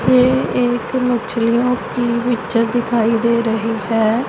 ये एक मछलियों की पिक्चर दिखाई दे रही है।